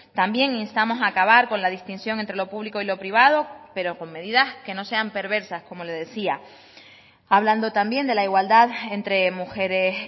también instamos a acabar con la distinción entre lo público y lo privado pero con medidas que no sean perversas como le decía hablando también de la igualdad entre mujeres